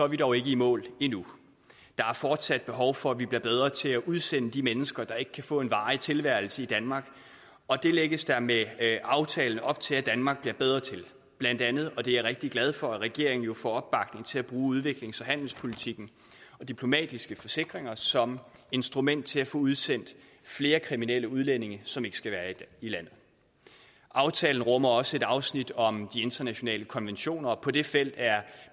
vi dog ikke i mål endnu der er fortsat behov for at vi bliver bedre til at udsende de mennesker der ikke kan få en varig tilværelse i danmark og det lægges der med aftalen op til at danmark bliver bedre til blandt andet og det er jeg rigtig glad for at regeringen jo får opbakning til til at bruge udviklings og handelspolitikken og diplomatiske forsikringer som instrumenter til at få udsendt flere kriminelle udlændinge som ikke skal være i landet aftalen rummer også et afsnit om de internationale konventioner og på det felt er